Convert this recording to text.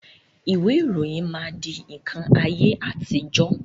Ìwé ìròyìn máa di nkan ayé àtijọ́